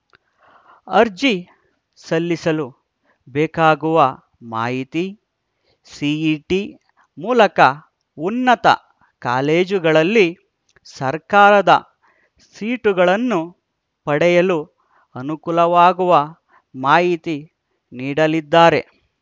ಅರ್ಜಿ ಸಲ್ಲಿಸಲು ಬೇಕಾಗುವ ಮಾಹಿತಿ ಸಿಇಟಿ ಮೂಲಕ ಉನ್ನತ ಕಾಲೇಜುಗಳಲ್ಲಿ ಸರ್ಕಾರದ ಸೀಟುಗಳನ್ನು ಪಡೆಯಲು ಅನುಕೂಲವಾಗುವ ಮಾಹಿತಿ ನೀಡಲಿದ್ದಾರೆ